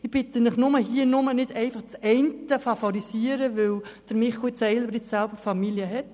Ich bitte Sie nur, nicht eine bestimmte Lösung zu favorisieren, weil Michel Seiler nicht selber Familie hat.